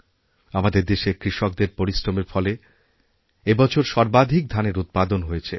আমাদের দেশের কৃষকদের পরিশ্রমের ফলে এইবছর সর্বাধিক ধানের উৎপাদন হয়েছে